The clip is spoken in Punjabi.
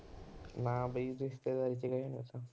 ਨਾ ਬਈ ਰਿਸ਼ਤੇਦਾਰੀ ਚ ਗਏ ਉਹ ਤਾਂ